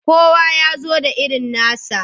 Kowa ya zo da irin nasa.